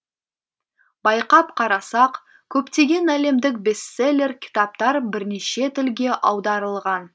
байқап қарасақ көптеген әлемдік бестселлер кітаптар бірнеше тілге аударылған